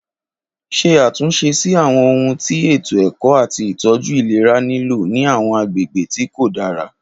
Ṣe àtúnṣe sí àwọn ohun tí ètò ẹ̀kọ́ àti ìtọ́jú ìlera nílò ní àwọn agbègbè tí kò dára.